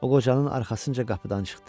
O qocanın arxasınca qapıdan çıxdı.